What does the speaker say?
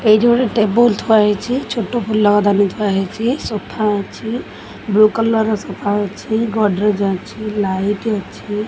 ଏଇଠି ଗୋଟେ ଟେବୁଲ୍ ଥୁଆ ହେଇଛି ଛୋଟ ଫୁଲ ଦାନୀ ଥୁଆ ହେଇଛି ସୋଫା ଅଛି ବ୍ଲ୍ୟୁ କଲର୍ ର ସୋଫା ଅଛି ଗଡରେଜ୍ ଅଛି ଲାଇଟ୍ ଅଛି।